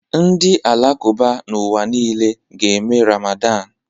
Ndị Alakụba n'ụwa niile ga-eme Ramadan